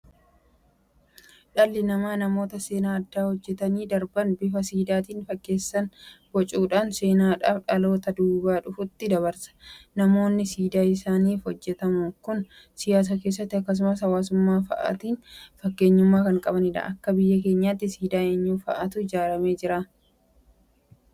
Dhalli namaa namoota seenaa addaa hojjetanii darban bifa Siidaatiin fakkeesseen bocuudhaan seenaadhaaf dhaloota duubaa dhufutti dabarsa. Namoonni siidaan isaanif hojjetamu kun siyaasa keessatti akkasumas hawaasummaa fa'aatiin fakkeenyummaa kan qabanidha. Akka biyya keenyaatti siidaa eenyuu fa'aatu ijaaramee jira?